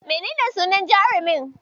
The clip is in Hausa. Menene sunan jarumin?